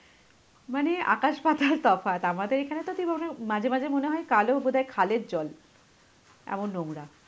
মানে আকাশ পাতাল তফাৎ, আমাদের এখানে তো মাঝে মনে হয় কালো বোধহয় খালের জল, এমন নোংরা.